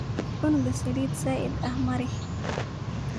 Cunuga salidha nazidha eh marix.